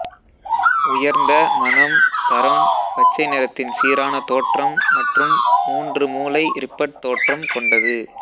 உயர்ந்த மனம் தரம் பச்சை நிறத்தின் சீரான தோற்றம் மற்றும் மூன்று மூலை ரிப்பட் தோற்றம் கொண்டது